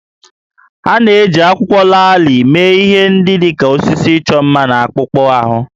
Ha na-eji akwụkwọ laalị mee ihe dị ka osisi ịchọ mma na akpụkpọ ahụ